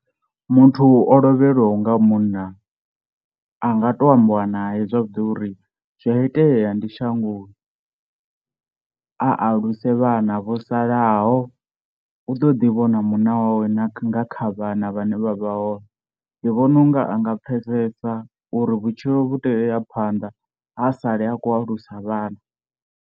Muthu o lovhelwaho nga munna a nga to ambiwa naye zwavhuḓi uri zwi a itea ndi shangoni, a aluse vhana vho salaho u ḓo ḓi vhona munna wawe na nga kha vhana vhane vha vha hone, ndi vhona unga anga pfhesesa uri vhutshilo vhu tea uya phanḓa a sale a khou alusa vhana.